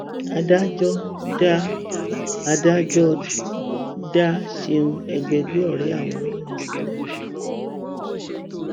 adájọ dá adájọ dá ṣeun ẹgbẹgbẹ ọrẹ àwọn olórin sílẹ